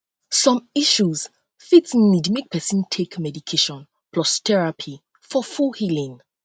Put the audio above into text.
som issue fit nid mek pesin um take medication plus therapy for um full healing um